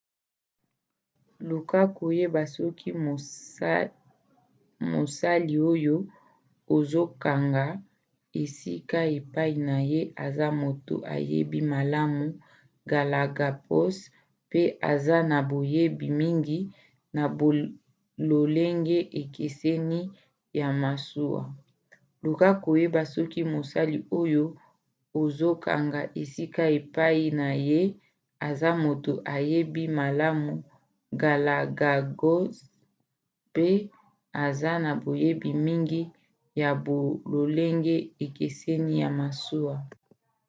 luka koyeba soki mosali oyo ozokanga esika epai na ye aza moto ayebi malamu galapagos mpe aza na boyebi mingi ya bololenge ekeseni ya masuwa.luka koyeba soki mosali oyo ozokanga esika epai na ye aza moto ayebi malamu galapagos mpe aza na boyebi mingi ya bololenge ekeseni ya masuwa